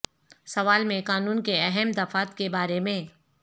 سوال میں قانون کے اہم دفعات کے بارے میں